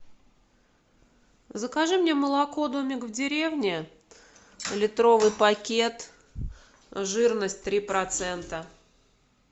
закажи мне молоко домик в деревне литровый пакет жирность три процента